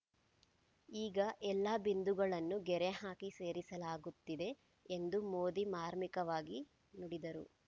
ಈಗ ಎಲ್ಲ ಬಿಂದುಗಳನ್ನು ಗೆರೆ ಹಾಕಿ ಸೇರಿಸಲಾಗುತ್ತಿದೆ ಎಂದೂ ಮೋದಿ ಮಾರ್ಮಿಕವಾಗಿ ನುಡಿದರು